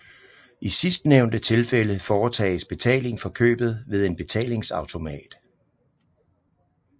I sidstnævnte tilfælde foretages betaling for købet ved en betalingsautomat